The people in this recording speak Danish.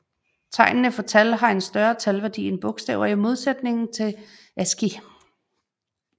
Tegnene for tal har en større talværdi end bogstaver i modsætning til ASCII